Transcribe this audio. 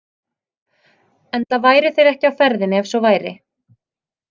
Enda væru þeir ekki á ferðinni ef svo væri.